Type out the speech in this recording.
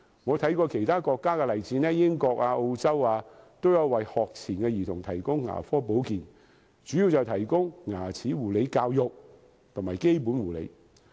我參考過其他國家的例子，英國和澳洲，都有為學前兒童提供牙科保健，主要是提供牙齒護理教育和基本護理。